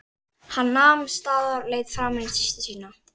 Hann nam staðar og leit framan í systur sína.